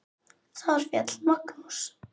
Þar féll Magnús.